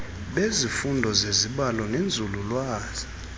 bezifundo zezibalo nenzululwazi